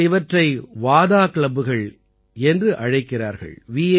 இவர்கள் இவற்றை வாதா கிளப்புகள் என்று அழைக்கிறார்கள்